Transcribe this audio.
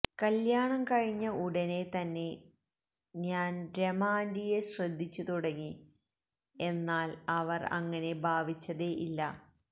കല്യാണം കഴിഞ ഉടനെ തന്നെ ജ്ഞാൻ രമ ആന്റിയെ ശ്രദ്ദിച്ചു തുടങ്ങി എന്നാൽ അവർ അങ്ങനെ ഭാവിച്ചതെ ഇല്ല